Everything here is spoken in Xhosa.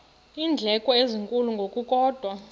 iindleko ezinkulu ngokukodwa